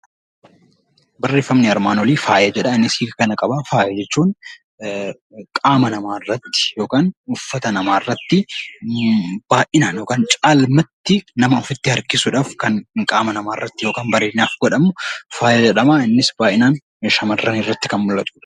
Barreeffamni armaan olii faaya jedha. Innis hiika kana qaba. Faaya jechuun qaama namaa irratti uffata namaarratti baay'inaan yookaan caalmaatti nama ofitti harkisuudhaaf kan qaama namaa irratti godhamu faaya jedhama. Innis baay'inaan shamarran irratti kan mul'atudha.